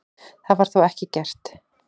Það var þó ekki gert.